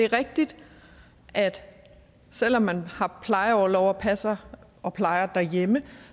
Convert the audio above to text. rigtigt at der selv om man har plejeorlov og passer og plejer derhjemme